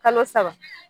Kalo saba